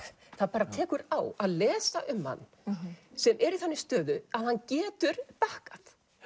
bara tekur á að lesa um hann sem er í þannig stöðu að hann getur bakkað